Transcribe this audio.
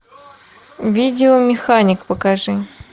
видео механик покажи